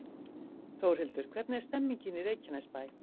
Þórhildur, hvernig er stemningin í Reykjanesbæ?